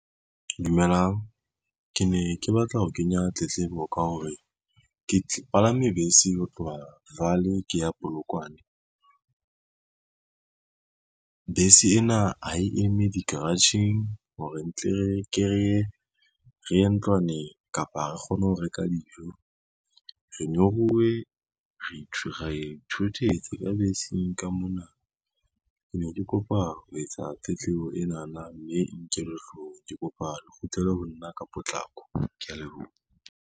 Dumelang, ke ne ke batla ho kenya tletlebo ka hore ke palame bese ho tloha Vaal ke ya Polokwane. Bese ena ha e eme di-garage-eng hore ntle re ye ntlwaneng kapa ha re kgone ho reka dijo. Re nyoruwe, ra ithutetse ka beseng ka mona. Ke ne ke kopa ho etsa tletlebo enana, mme e nkellwe hloohong, ke kopa le kgutlele ho nna ka potlako, kea leboha.